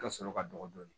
Ka sɔrɔ ka dɔgɔ dɔɔnin